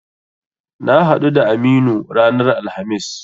Na haɗu da Aminu ranar Alhamis.